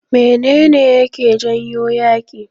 Mene ne yake janyo yaƙi?